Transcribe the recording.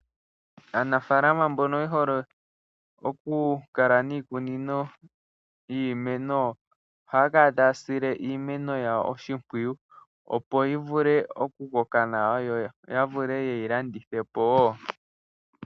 Aanafalama mbono ye hole okukala niikunino yiimeno ohaya kala taya sile iimeno yawo oshipwiyu opo yi vule okukoka nawa yo ya vule ye yi landithe po wo.